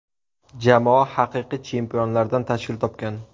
Jamoa haqiqiy chempionlardan tashkil topgan.